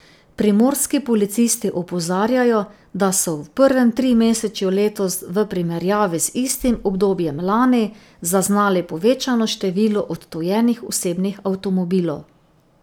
Primorski policisti opozarjajo, da so v prvem trimesečju letos, v primerjavi z istim obdobjem lani, zaznali povečano število odtujenih osebnih avtomobilov.